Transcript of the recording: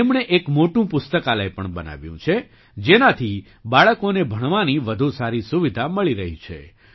તેમણે એક મોટું પુસ્તકાલય પણ બનાવ્યું છે જેનાથી બાળકોને ભણવાની વધુ સારી સુવિધા મળી રહી છે